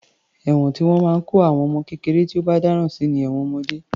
Ẹ̀wọ̀n tí wọ́n máa ń kó àwọn ọmọ kékeré tí ó bá dáràn sí ni ẹ̀wọ̀n ọmọdé.